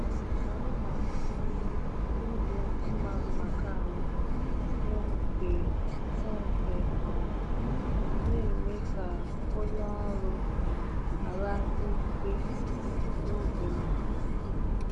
um Anyị na-atụnyere ibu mma mma ka anyị hụ nke hụ nke um na-eme ka onye ọrụ um ghara ike n’oge mbido.